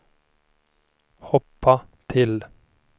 hoppa till